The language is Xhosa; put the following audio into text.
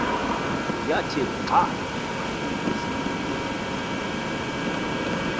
yathi xa iza